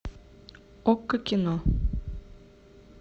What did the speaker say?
окко кино